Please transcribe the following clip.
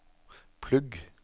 plugg